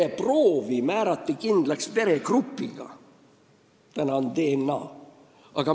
Vereproovi määrati kindlaks veregrupiga, praegu on meil DNA-analüüs.